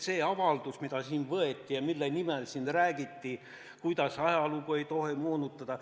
See avaldus, mis siin tehti ja mille nimel räägiti, kuidas ajalugu ei tohi moonutada.